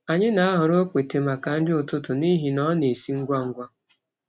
Anyị na-ahọrọ okpete maka nri ụtụtụ n’ihi na ọ na-esi ngwa ngwa.